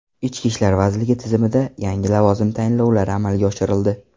Ichki ishlar vazirligi tizimida yangi lavozim tayinlovlari amalga oshirildi.